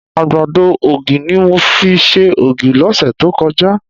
Àgbàdo ògì ni mo fi ṣe ògì lọ́sẹ̀ tó kọjá